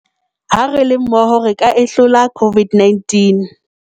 Ha re le mmoho re ka e hlola COVID-19